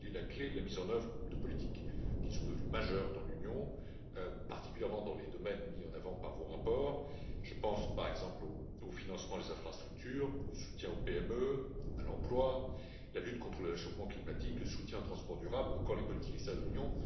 Il est la clé de la mise en œuvre de politiques qui sont devenues majeures dans l'Union, particulièrement dans les domaines mis en avant par vos rapports. Je pense par exemple au financement des infrastructures, au soutien aux PME, à l'emploi, à la lutte contre le réchauffement climatique, au soutien aux transports durables ou encore aux politiques externes de l'Union.